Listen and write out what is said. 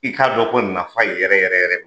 I k'a dɔn ko nafa yɛrɛ yɛrɛ yɛrɛ